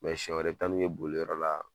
siɲɛ wɛrɛ i bɛ taa nu ye boliyɔrɔ la.